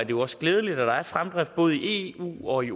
jo også glædeligt at der er fremdrift både i eu og i